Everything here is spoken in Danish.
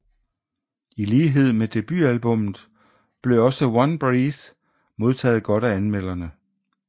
I lighed med debutalbummet blev også One Breath modtaget godt af anmelderne